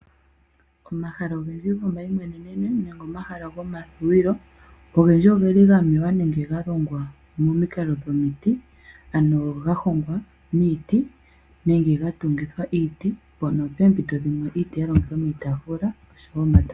Omahala ogendji go mayimweneno , omahala go madhuwilo ogendji ogeli gamewa nenge galongwa momikalo dhomiti, ano yahongwa niiti nenge ga tungithwa iiti mpono pempito dhimwe iiti yalongithwa miitafula oshowo.